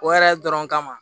O yɛrɛ dɔrɔn kama